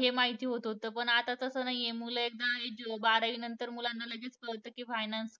हे माहिती होत होतं. पण आता तसं नाही आहे. मुलं एकदा एजू~ बारावी नंतर मुलांना लगेच कळतं की finance